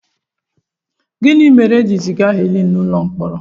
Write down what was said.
Gịnị mere e ji ziga Helen n'ụlọ mkpọrọ?